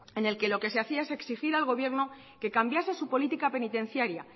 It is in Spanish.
en el que lo que se hacía es exigir al gobierno que cambiase su política penitenciaria